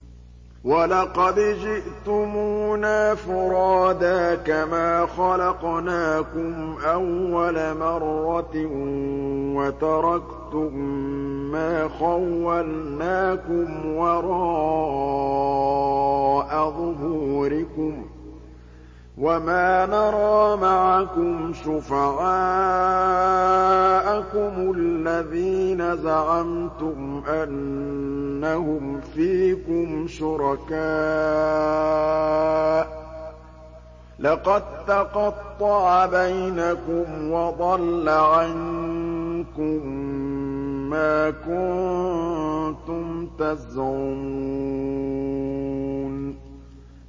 وَلَقَدْ جِئْتُمُونَا فُرَادَىٰ كَمَا خَلَقْنَاكُمْ أَوَّلَ مَرَّةٍ وَتَرَكْتُم مَّا خَوَّلْنَاكُمْ وَرَاءَ ظُهُورِكُمْ ۖ وَمَا نَرَىٰ مَعَكُمْ شُفَعَاءَكُمُ الَّذِينَ زَعَمْتُمْ أَنَّهُمْ فِيكُمْ شُرَكَاءُ ۚ لَقَد تَّقَطَّعَ بَيْنَكُمْ وَضَلَّ عَنكُم مَّا كُنتُمْ تَزْعُمُونَ